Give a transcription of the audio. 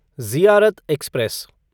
Ziarat express